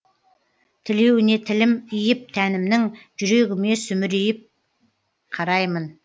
тілеуіне тілім иіп тәнімнің жүрегіме сүмірейіп қараймын